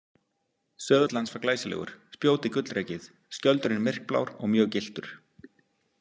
Söðull hans var glæsilegur, spjótið gullrekið, skjöldurinn myrkblár og mjög gylltur.